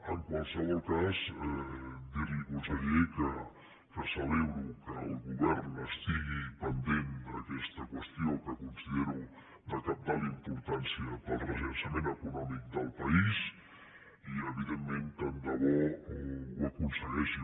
en qualsevol cas dir li conseller que celebro que el govern estigui pendent d’aquesta qüestió que considero de cabdal importància per al rellançament econòmic del país i evidentment tant de bo ho aconsegueixi